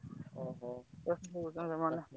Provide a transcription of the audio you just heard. ଓହୋ।